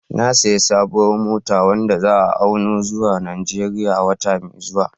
Na sayi sabuwar mota wadda za'a auno zuwa Najeriya wata mai zuwa